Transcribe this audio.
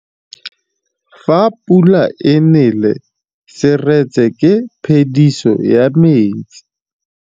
Fa pula e nelê serêtsê ke phêdisô ya metsi.